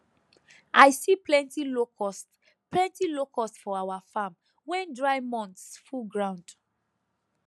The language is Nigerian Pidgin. i see plenty locust plenty locust for our farm when dry months full ground